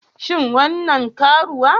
Shin wannan karuwa?